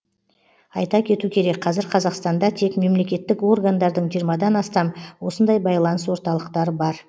айта кету керек қазір қазақстанда тек мемлекеттік органдардың жиырмадан астам осындай байланыс орталықтары бар